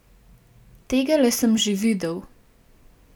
Tegale sem že videl.